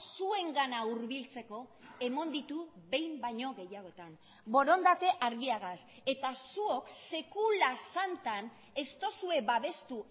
zuengana hurbiltzeko eman ditu behin baino gehiagotan borondate argiagaz eta zuok sekula santan ez duzue babestu